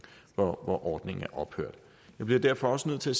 hvor ordningen er ophørt jeg bliver derfor også nødt til